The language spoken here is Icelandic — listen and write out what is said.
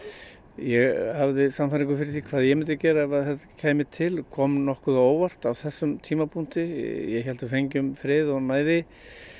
ég hafði sannfæringu fyrir því hvað ég myndi gera ef þetta kæmi til kom nokkuð á óvart á þessum tímapunkti ég hélt við fengjum frið og næði